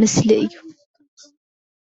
ምስሊ እዩ።